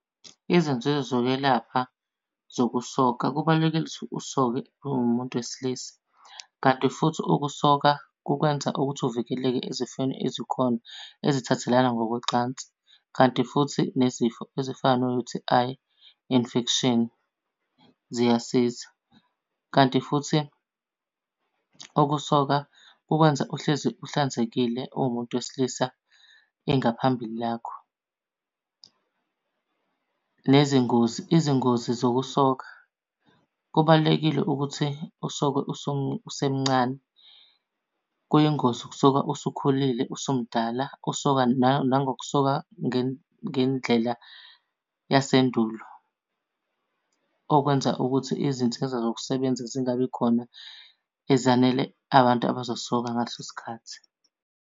Izinzuzo zokwelapha zokusoka kubalulekile ukuthi usoke uwumuntu wesilisa. Kanti futhi ukusoka kukwenza ukuthi uvikeleke ezifweni ezikhona ezithathelana ngokocansi. Kanti futhi nezifo ezifana no-U_T_I infection, ziyasiza. Kanti futhi ukusoka kukwenza uhlezi uhlanzekile uwumuntu wesilisa ingaphambili lakho. Nezingozi, izingozi zokusoka. Kubalulekile ukuthi usoke usemncane. Kuyingozi ukusoka usukhulile usumdala usoka , nangokusoka ngendlela yasendulo. Okwenza ukuthi izinsiza zokusebenza zingabi khona ezanele abantu abazosoka ngaleso sikhathi.